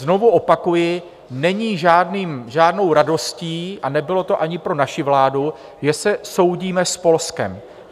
Znovu opakuji, není žádnou radostí, a nebylo to ani pro naši vládu, že se soudíme s Polskem.